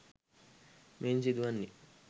මෙයින් සිදු වන්නේ